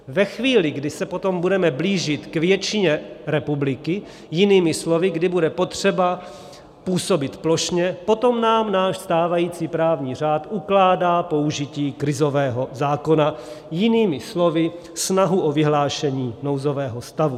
Ve chvíli, kdy se potom budeme blížit k většině republiky, jinými slovy kdy bude potřeba působit plošně, potom nám náš stávající právní řád ukládá použití krizového zákona, jinými slovy snahu o vyhlášení nouzového stavu.